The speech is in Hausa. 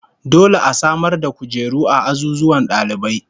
Dole a samar da kujeru a azuzuwan dalibai